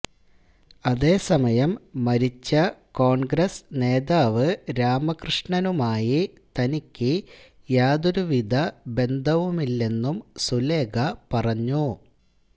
അതേസമയം മരിച്ച കോണ്ഗ്രസ് നേതാവ് രാമകൃഷ്ണനുമായി തനിക്ക് യാതൊരു വിധ ബന്ധവുമില്ലെന്നും സുലേഖ പറഞ്ഞു